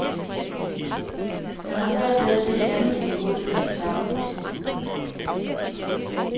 Han har svært ved at se andet end en god fest i sammenkomsten.